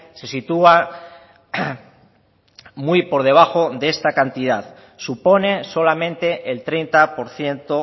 se sitúa muy por debajo de esta cantidad supone solamente el treinta por ciento